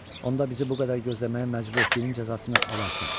Onda bizi bu qədər gözləməyə məcbur etdiyinin cəzasını alarsan.